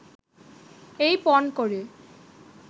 এই পণ করে